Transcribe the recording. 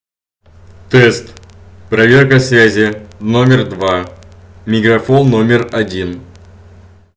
тест проверка связи номер два мегафон номер один